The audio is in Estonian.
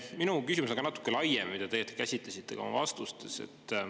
Minu küsimus on ka natuke laiem, mida te käsitlesite ka oma vastustes.